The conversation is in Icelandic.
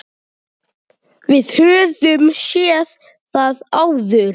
Við höfum séð það áður.